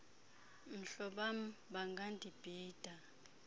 mhloba m bangandibhida